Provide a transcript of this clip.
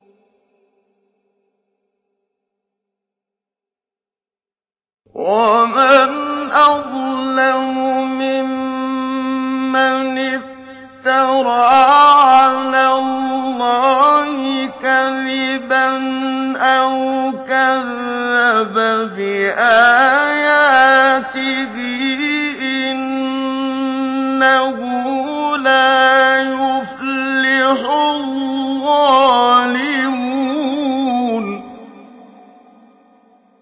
وَمَنْ أَظْلَمُ مِمَّنِ افْتَرَىٰ عَلَى اللَّهِ كَذِبًا أَوْ كَذَّبَ بِآيَاتِهِ ۗ إِنَّهُ لَا يُفْلِحُ الظَّالِمُونَ